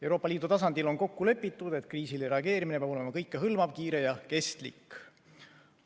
Euroopa Liidu tasandil on kokku lepitud, et kriisile reageerimine peab olema kõikehõlmav, kiire ja kestlik.